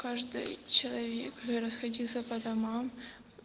каждый человек расходиться по домам